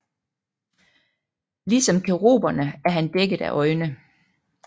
Ligesom keruberne er han dækket af øjne